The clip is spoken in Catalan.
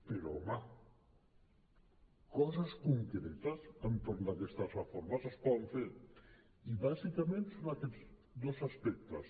però home coses concretes entorn d’aquestes reformes es poden fer i bàsicament són aquests dos aspectes